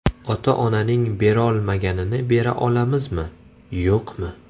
Ota-onaning berolmaganini bera olamizmi, yo‘qmi?